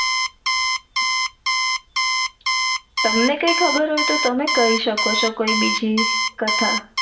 તમને કઈ ખબર હોય તો તમે કઈ સકો છો બીજી કથા